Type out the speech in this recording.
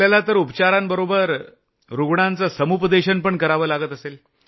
आपल्याला तर उपचारांबरोबर रूग्णांचं समुपदेशन पण करावं लागत असेल